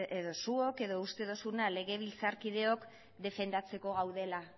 edo zuok edo uste duzuna legebiltzarkideok defendatzeko gaudela